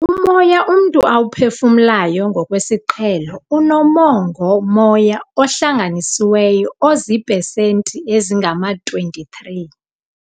"Umoya umntu awuphefumlayo ngokwesiqhelo unomongo-moya ohlanganisiweyo oziipesenti ezingama-23."